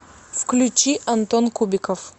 включи антон кубиков